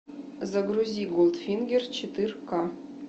загрузи голдфингер четырка